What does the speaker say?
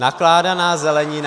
Nakládaná zelenina.